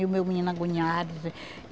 E o meu menino agoniado.